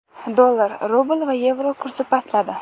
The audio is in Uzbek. Dollar, rubl va yevro kursi pastladi.